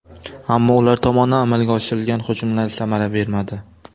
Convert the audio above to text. Ammo ular tomonidan amalga oshirilgan hujumlar samara bermadi.